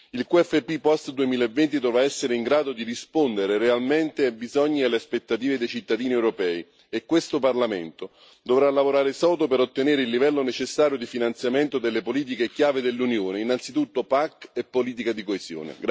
Il QFP post 2020 dovrà essere in grado di rispondere realmente ai bisogni e alle aspettative dei cittadini europei, e questo Parlamento dovrà lavorare sodo per ottenere il livello necessario di finanziamento delle politiche chiave dell'Unione, innanzitutto PAC e politiche di coesione.